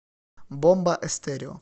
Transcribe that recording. бомба эстерео